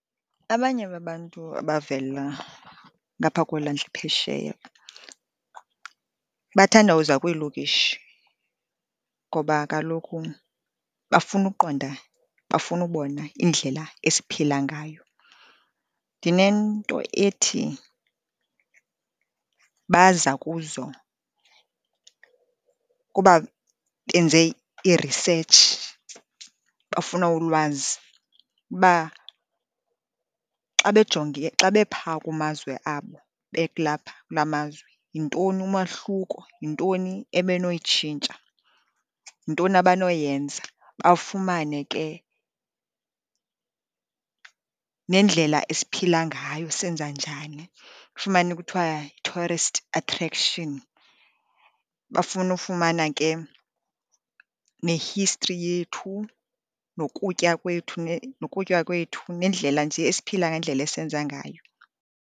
Abanye babantu abavela ngapha kweelwandle phesheya, bathanda uza kwiilokishi ngoba kaloku bafuna ukuqonda. Bafuna ukubona indlela esiphila ngayo. Ndinento ethi baza kuzo kuba benze iresetshi, bafuna ulwazi uba xa bejonge, xa bephaa kumazwe abo belapha kula mazwe yintoni umahluko. Yintoni ebenoyitshintsha, yintoni abanoyenza, bafumane ke nendlela esiphila ngayo, senza njani. Ufumane kuthwa i-tourist attraction, bafuna ufumana ke ne-history yethu, nokutya kwethu, nendlela nje esiphila ngendlela esenza ngayo.